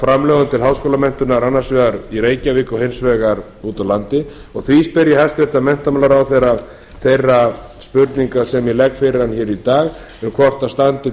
framlögum til háskólamenntunar annars vegar í reykjavík og hins vegar úti á landi og því spyr ég hæstvirtan menntamálaráðherra þeirra spurninga sem ég legg fyrir hann í dag hvort það standi